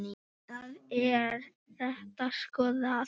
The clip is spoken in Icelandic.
Þá er þetta skoðað.